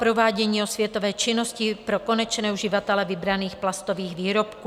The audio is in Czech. Provádění osvětové činnosti pro konečné uživatele vybraných plastových výrobků.